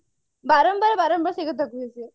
ବାରମ୍ବାର ବାରମ୍ବାର ସେଇ କଥା କହୁଛି